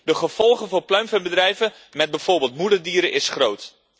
De gevolgen voor pluimveebedrijven met bijvoorbeeld moederdieren is groot.